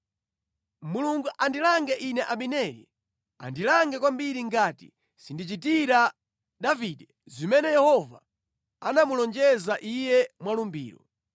Mulungu andilange ine Abineri, andilange kwambiri, ngati sindichitira Davide zimene Yehova anamulonjeza iye mwa lumbiro.